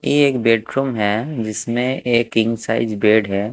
ये एक बेडरूम हैं जिसमे एक किंग साइज़ बेड है।